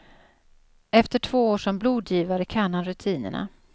Efter två år som blodgivare kan han rutinerna.